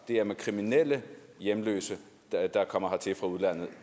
er med kriminelle hjemløse der kommer hertil fra udlandet og